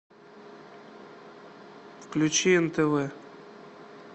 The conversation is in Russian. включи нтв